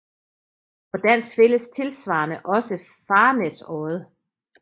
På dansk findes tilsvarende også Farnæsodde